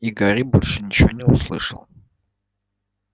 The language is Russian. и гарри больше ничего не услышал